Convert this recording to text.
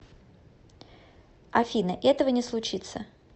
афина этого не случится